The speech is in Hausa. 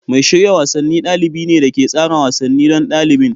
Mai shirya wasanni dalibi ne da ke tsara wasanni don ɗalibin.